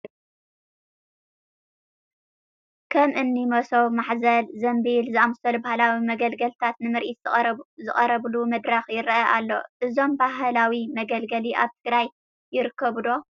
ከም እኒ መሶብ፣ ማሕዘል፣ ዘምቢል ዝኣምሰሉ ባህላዊ መገልገልታት ንምርኢት ዝቐረብሉ መድረኽ ይርአ ኣሎ፡፡ እዞም ባህላዊ መገልገሊ ኣብ ትግራይ ይርከቡ ዶ?